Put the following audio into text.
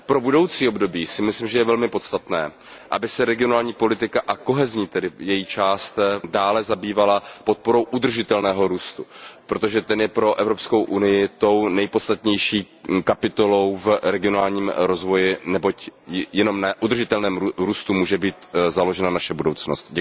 Pro budoucí období si myslím, že je velmi podstatné, aby se regionální politika a její kohezní část dále zabývala podporou udržitelného růstu, protože ten je pro Evropskou unii tou nejpodstatnější kapitolou v regionálním rozvoji, neboť jenom na udržitelném růstu může být založena naše budoucnost.